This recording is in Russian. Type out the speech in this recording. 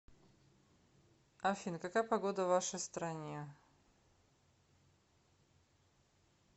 афина какая погода в вашей стране